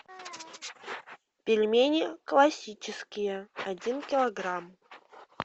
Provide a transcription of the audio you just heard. пельмени классические один килограмм